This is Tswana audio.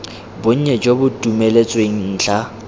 bonnye jo bo dumeletsweng ntlha